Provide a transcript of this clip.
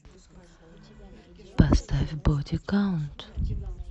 поставь боди каунт